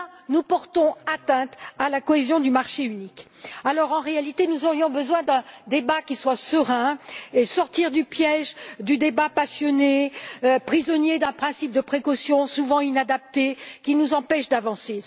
Nous portons ainsi atteinte à la cohésion du marché unique, alors qu'en réalité, nous aurions besoin de mener un débat serein et de sortir du piège du débat passionné, prisonnier d'un principe de précaution souvent inadapté qui nous empêche d'avancer.